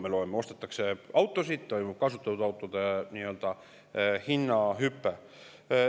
Me loeme, et ostetakse autosid, toimub kasutatud autode hinna hüpe.